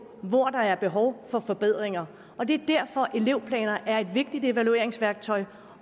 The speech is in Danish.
hvor der er behov for forbedringer og det er derfor elevplaner er et vigtigt evalueringsværktøj